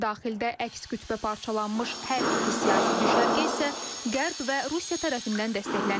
Daxildə əks qütbə parçalanmış hər iki siyasi düşərgə isə Qərb və Rusiya tərəfindən dəstəklənir.